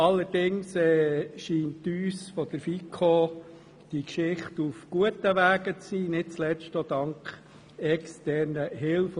Allerdings scheint uns von der FiKo, dass diese Geschichte nun auf gutem Wege ist, nicht zuletzt auch dank externer Hilfe.